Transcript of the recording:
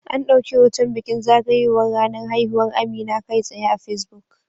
An dauki hoton bikin zagayowar ranar haihuwar Amina kai tsaye a Facebook